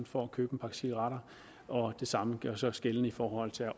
for at købe en pakke cigaretter og det samme gør sig gældende i forhold til at